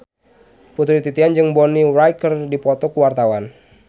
Putri Titian jeung Bonnie Wright keur dipoto ku wartawan